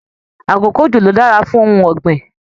Àkókò ojo lo dára fún ohùn ọgbin.